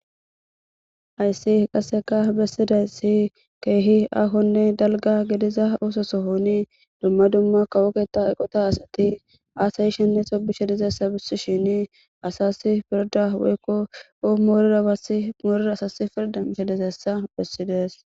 ayssi qasseka bessiday si keehi ahonne dalga gediza oososo hooni dumma dumma kawoketha eqota asati aasayi shenne xobishe dizessa bissi shini asasi pirda woykko o maamoorira asasi pirda hedesessa bessides